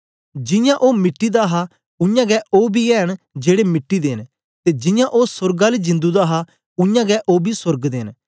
जियां ओ मिट्टी दा हा उयांगै ओ बी ऐ न जेड़े मिट्टी दे न ते जियां ओ सोर्ग आली जिंदु दा हा उयांगै ओ बी सोर्ग दे न